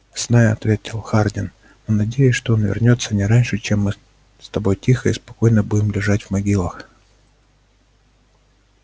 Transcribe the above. знаю ответил хардин но надеюсь что он вернётся не раньше чем мы с тобой тихо и спокойно будем лежать в могилах